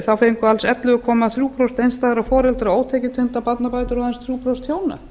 þá fengu alls ellefu komma þrjú prósent einstæðra foreldra ótekjutengdar barnabætur en aðeins þrjú prósent hjóna